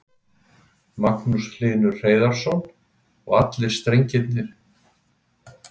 Magnús Hlynur Hreiðarsson: Og strengirnir allir í þessari rennu?